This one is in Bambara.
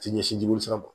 Ti ɲɛsin jirimisira ma